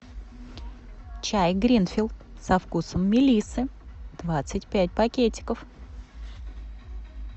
чай гринфилд со вкусом мелиссы двадцать пять пакетиков